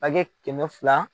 kɛmɛ fila